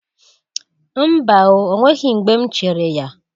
Mba o, o nweghi mgbe m chere ya.